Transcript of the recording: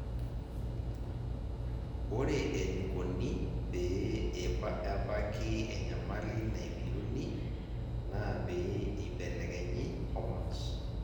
ore enikoni pee ebaki enyamali naibiruni naa pee eibelekenyi hormones.